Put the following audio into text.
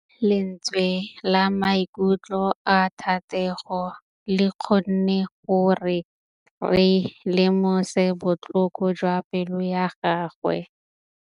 Lentswe la maikutlo a Thategô le kgonne gore re lemosa botlhoko jwa pelô ya gagwe.